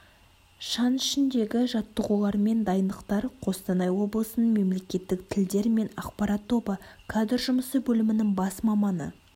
шаң ішіндегі жаттығулармен дайындықтар қостанай облысының мемлекеттік тілдер мен ақпарат тобы кадр жұмысы бөлімінің бас маманы